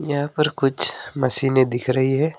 यहां पर कुछ मशीने दिख रही है।